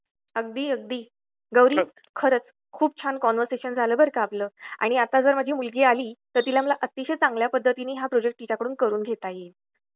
अगदी अगदी , गौरी खरच खुप छान कन्वर्सेशन झाल बर का आपल आणि जर आता माझी मुलगी आली तर मला तिला अतिशय चांगल्या पद्धतीनी हा प्रोजेक्ट तिच्या कडून पूर्ण करवून घेता येईल .